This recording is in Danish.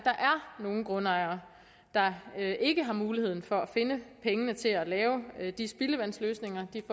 nogle grundejere der ikke har muligheden for at finde pengene til at lave de spildevandsløsninger de